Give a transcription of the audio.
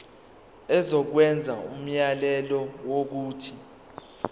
izokwenza umyalelo wokuthi